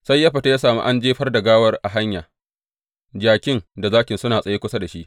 Sai ya fita ya sami an jefar da gawar a hanya, jakin da zakin suna tsaye kusa da shi.